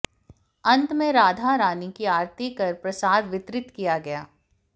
अंत में राधा रानी की आरती कर प्रसाद वितरित किया गया